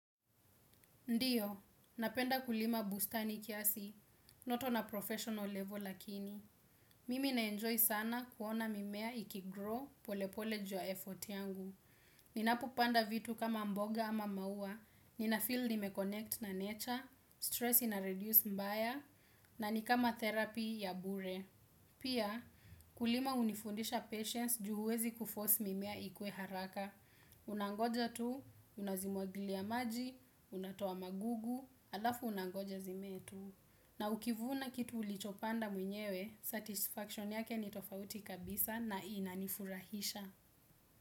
Ndiyo, napenda kulima bustani kiasi, not on a professional level lakini. Mimi naenjoy sana kuona mimea ikigrow polepole juu ya effort yangu. Ninapopanda vitu kama mboga ama maua, ninafeel nimeconnect na nature, stress ina reduce mbaya, na nikama therapy ya bure. Pia, kulima hunifundisha patience juu huwezi kuforce mimea ikue haraka. Unangoja tu, unazimwagilia maji, unatoa magugu, alafu unangoja zimee tu na ukivuna kitu ulichopanda mwenyewe, satisfaction yake ni tofauti kabisa na inanifurahisha.